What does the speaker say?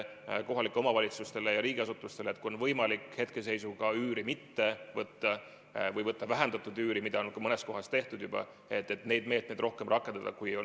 Auväärt minister!